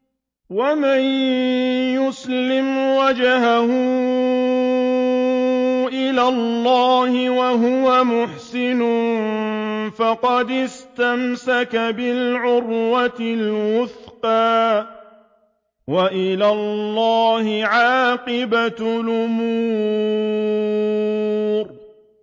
۞ وَمَن يُسْلِمْ وَجْهَهُ إِلَى اللَّهِ وَهُوَ مُحْسِنٌ فَقَدِ اسْتَمْسَكَ بِالْعُرْوَةِ الْوُثْقَىٰ ۗ وَإِلَى اللَّهِ عَاقِبَةُ الْأُمُورِ